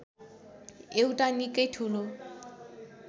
एउटा निकै ठूलो